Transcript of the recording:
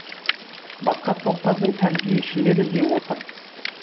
басқа топтардың тәрбиешілері де отыр